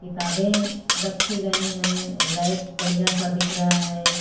किताबें रखी गई हैं रैक बढ़िया सा दिख रहा है।